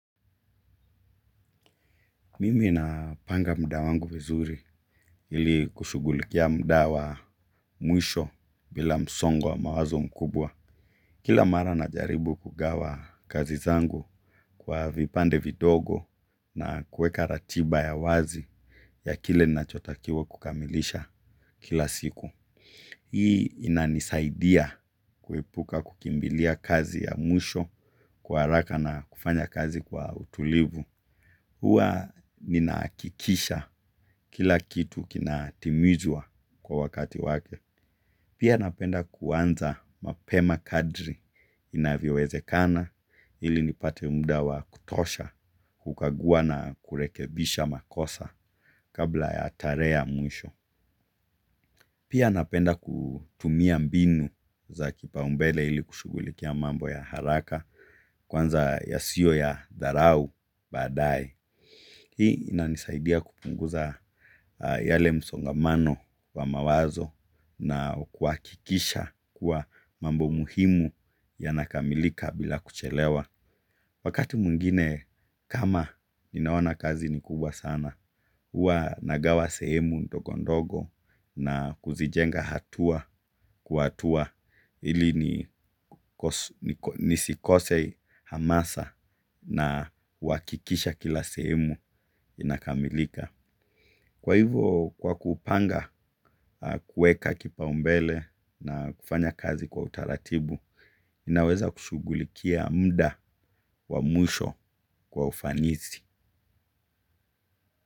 Mimi na panga muda wangu vizuri ili kushugulikia muda wa mwisho bila msongo wa mawazo mkubwa. Kila mara na jaribu kugawa kazi zangu kwa vipande vidogo na kuweka ratiba ya wazi ya kile nachotakiwa kukamilisha kila siku. Hii inanisaidia kuepuka kukimbilia kazi ya mwisho kwa haraka na kufanya kazi kwa utulivu. Huwa ninaaakikisha kila kitu kina timizwa kwa wakati wake. Pia napenda kuanza mapema kadri inavyoweze kana ili nipate mdawa kutosha kukagua na kurekebisha makosa kabla ya tarehe ya mwisho. Pia napenda kutumia mbinu za kipa umbele ili kushugulikia mambo za haraka kwa yasio ya dharau baadaye. Hii inanisaidia kupunguza yale msongamano wa mawazo na kuakikisha kuwa mambo muhimu ya nakamilika bila kuchelewa. Wakati mwingine kama ninaona kazi ni kubwa sana, hua nagawa sehemu ndogondogo na kuzijenga hatua kwa hatua ili nisikose hamasa na huwakikisha kila sehemu inakamilika. Kwa hivo kwa kupanga kuweka kipaumbele na kufanya kazi kwa utaratibu naweza kushugulikia muda wa mwisho kwa ufanisi.